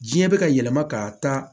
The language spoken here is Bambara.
Diɲɛ bɛ ka yɛlɛma ka taa